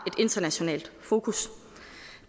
internationalt fokus